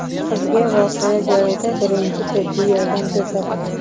Qizga voqea joyida birinchi tibbiy yordam ko‘rsatildi.